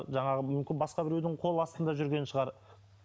жаңағы мүмкін басқа біреудің қоластында жүрген шығар